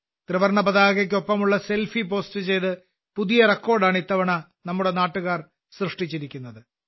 ത്രിവർണപതാകയ്ക്കൊപ്പമുള്ള selfie post ചെയ്ത് പുതിയ റെക്കോർഡാണ് ഇത്തവണ നമ്മുടെ നാട്ടുകാർ സൃഷ്ടിച്ചിരിക്കുന്നത്